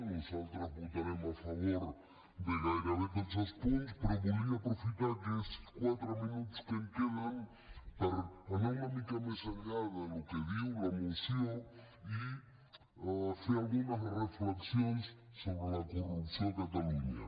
nosaltres votarem a favor de gairebé tots els punts però volia aprofitar aquests quatre minuts que em queden per anar una mica més enllà del que diu la moció i fer algunes reflexions sobre la corrupció a catalunya